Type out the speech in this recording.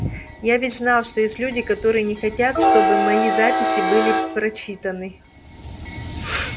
я ведь знал что есть люди которые не хотят чтобы мои записи были прочитаны